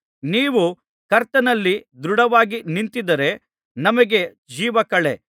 ನೀವು ಕರ್ತನಲ್ಲಿ ದೃಢವಾಗಿ ನಿಂತಿದ್ದರೆ ನಮಗೆ ಜೀವಕಳೆ